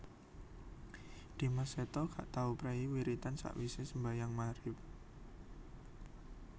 Dimas Seto gak tau prei wiritan sakwise sembahyang maghrib